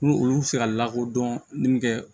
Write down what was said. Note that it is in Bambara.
N'olu fɛ ka lakodɔn min kɛ